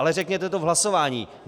Ale řekněte to v hlasování.